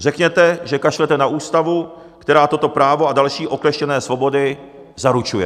Řekněte, že kašlete na ústavu, která toto právo a další okleštěné svobody zaručuje.